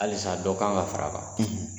Halisa dɔ kan ka fara a kan,